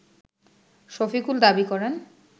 শফিকুল দাবি করেন